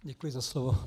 Děkuji za slovo.